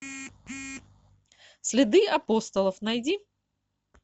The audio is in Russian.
следы апостолов найди